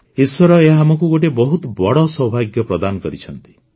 ଈଶ୍ୱର ଆମକୁ ଗୋଟିଏ ବହୁତ ବଡ଼ ସୌଭାଗ୍ୟ ପ୍ରଦାନ କରିଛନ୍ତି